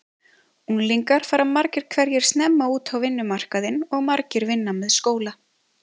Unglingar fara margir hverjir snemma út á vinnumarkaðinn og margir vinna með skóla.